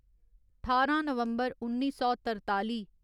ठारां नवम्बर उन्नी सौ तरताली